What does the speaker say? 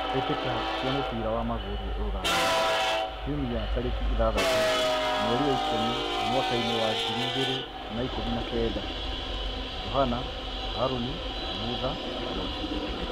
Mbĩ tĩ ka cia mũbira wa magũrũ Ruraya Kiumia tarĩ ki ithathatũ mweri wa ikũmi mwakainĩ wa ngiri igĩ rĩ na ikũmi na kenda: Johana, Harũni, Mutha, Joshua.